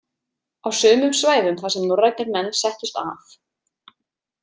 Á sumum svæðum þar sem norrænir menn settust að.